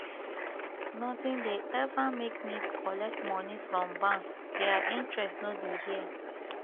notin dey eva make me collect moni from bank their interest no be here